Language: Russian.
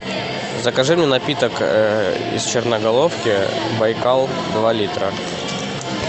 закажи мне напиток из черноголовки байкал два литра